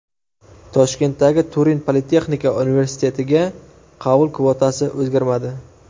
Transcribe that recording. Toshkentdagi Turin politexnika universitetiga qabul kvotasi o‘zgarmadi.